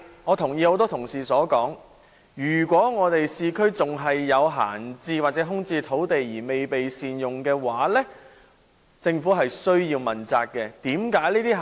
我同意很多同事所說，如果市區仍有閒置或空置土地未被善用，政府需要問責。